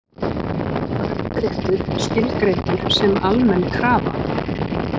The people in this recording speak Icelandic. Kaupréttur skilgreindur sem almenn krafa